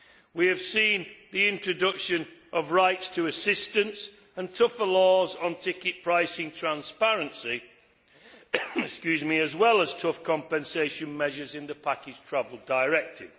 We have seen the introduction of rights to assistance and tougher laws on ticket pricing transparency, as well as tough compensation measures in the package travel directive.